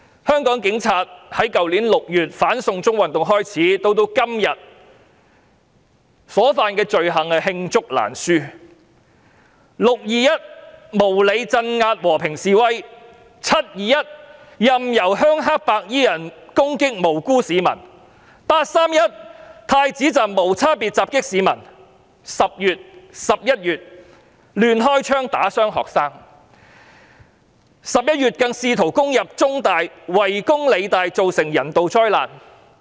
香港警察在去年6月"反送中"運動開始到今天，他們所犯的罪行罄竹難書，"六二一"無理鎮壓和平示威者，"七二一"任由鄉黑白衣人攻擊無辜市民，"八三一"太子站無差別襲擊市民 ，10 月、11月亂開槍打傷學生 ，11 月更試圖攻入中文大學及圍攻理工大學，造成人道災難。